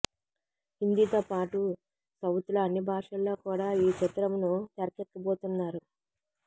హిందీతో పాటు సౌత్లో అన్ని భాషల్లో కూడా ఈ చిత్రంను తెరకెక్కిబోతున్నారు